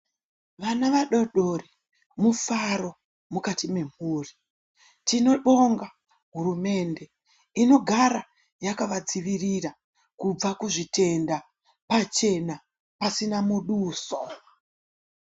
Vana vadodori mufaro mukati memhuri tinobonga hurumende inogara yakavadzivirira kubva kuzvitenda pachena pasina muduso.